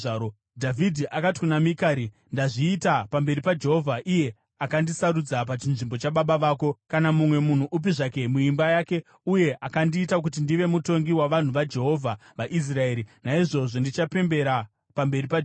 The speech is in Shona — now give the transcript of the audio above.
Dhavhidhi akati kuna Mikari, “Ndazviita pamberi paJehovha, iye akandisarudza pachinzvimbo chababa vako kana mumwe munhu upi zvake muimba yake uye akandiita kuti ndive mutongi wavanhu vaJehovha, vaIsraeri; naizvozvo ndichapembera pamberi paJehovha.